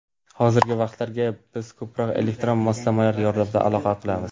Hozirgi vaqtlarda biz ko‘proq elektron moslamalar yordamida aloqa qilamiz.